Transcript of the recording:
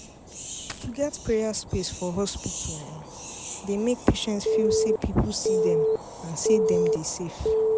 pause — to get prayer space for hospital dey make patients feel say people see them and say dem dem dey safe.